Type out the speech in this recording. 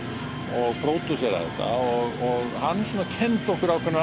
og pródúsera þetta hann kenndi okkur ákveðnar